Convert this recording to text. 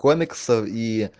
комиксов и